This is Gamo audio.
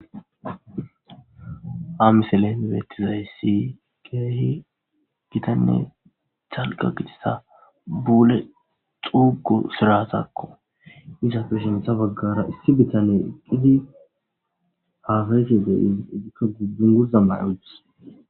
Ha misele mibetizayssi keehi gitanne calqa gixisa buule xuugu siratakko iza peshintha baggara issi bitane qidi hafese de i igikka gudbun gurza mayuti